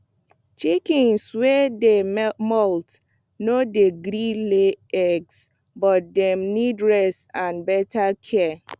chickens wey dey molt no dey gree lay eggs but dem need rest and better care